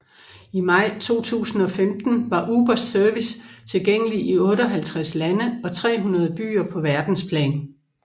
I maj 2015 var Ubers service tilgængelig i 58 lande og 300 byer på verdensplan